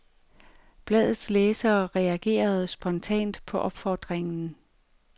Bladets læsere reagerede spontant på opfordringen.